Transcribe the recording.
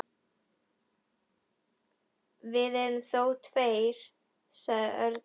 Við erum þó tveir, sagði Örn.